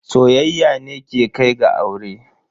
Soyayya ne ke kai ga aure.